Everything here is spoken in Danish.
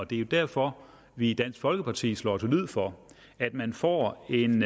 det er jo derfor vi i dansk folkeparti slår til lyd for at man får en